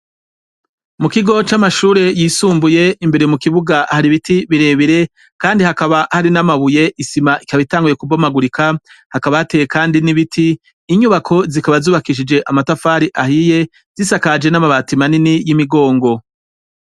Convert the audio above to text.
Mu kigo c'amashure yisumbuye imbere mu kibuga hari biti bire bire kandi hakaba hari n'amabuye isima ikaba itanguye kubomagurika hakaba hateye kandi n'ibiti inyubako zikaba zubakishije amatafari ahiye zisakaje n'amabati manini y'imigongo.